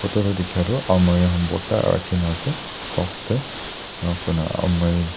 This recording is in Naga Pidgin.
photo toh dikha tu almari khan bhorta rakhi na ase stocks teharu koina aalmari .